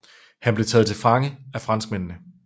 Han blev taget til fange af franskmændene